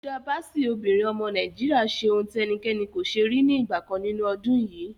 Hilda Baci, obìnrin ọmọ Nàìjíríà ṣe ohun tí ẹnikẹ́ni kò ṣe rí ní ìgbà kan nínú ọdún yìí.